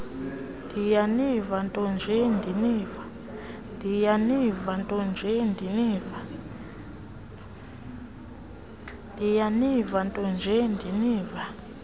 ndiyaniva ntonje ndiniva